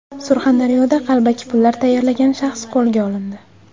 Surxondaryoda qalbaki pullar tayyorlagan shaxs qo‘lga olindi.